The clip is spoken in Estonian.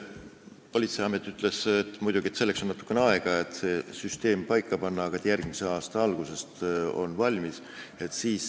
Politseiamet ütles, et läheb muidugi natuke aega, selleks et see süsteem paika panna, aga järgmise aasta alguses on see valmis.